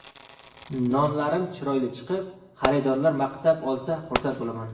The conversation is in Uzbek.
Nonlarim chiroyli chiqib, xaridorlar maqtab olsa, xursand bo‘laman.